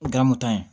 O kɛra moto ye